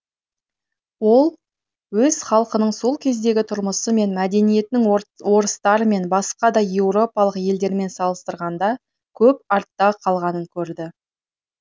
ол өз халқының сол кездегі тұрмысы мен мәдениетінің орыстармен басқа да еуропалық елдермен салыстырғанда көп артта қалғанын көрді